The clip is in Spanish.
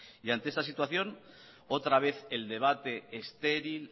y ante esta situación otra vez el debate estéril